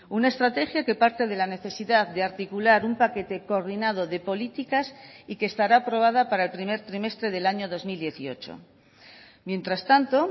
una estrategia que parte de la necesidad de articular un paquete coordinado de políticas y que estará aprobada para el primer trimestre del año dos mil dieciocho mientras tanto